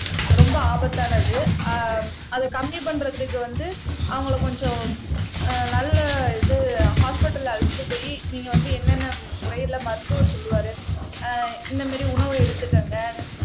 ரொம்ப ஆபத்தானது ஆஹ் அதை கம்மி பண்றதுக்கு வந்து அவங்களை கொஞ்சம் ஆஹ் நல்ல இது ஹாஸ்பிடல்ல அழைச்சிட்டு போயி நீங்க வந்து என்னென்ன முறையில மருத்துவர் சொல்லுவாரு ஆஹ் இந்த மாரி உணவு எடுத்துக்கங்க